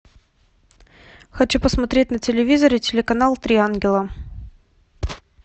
хочу посмотреть на телевизоре телеканал три ангела